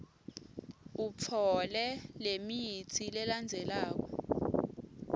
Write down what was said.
utfole lemitsi lelandzelako